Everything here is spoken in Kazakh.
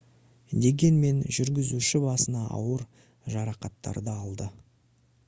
дегенмен жүргізуші басына ауыр жарақаттарды алды